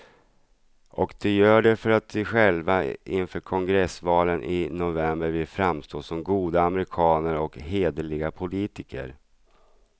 Och de gör det för att de själva inför kongressvalen i november vill framstå som goda amerikaner och hederliga politiker.